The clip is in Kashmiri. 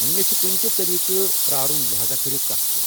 مےٚ چھُ کُنہِ تہِ طریقہٕ پرارُن لہاذا كرو كتھ تہِ ۔